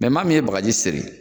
Mɛ maa min ye bagaji seri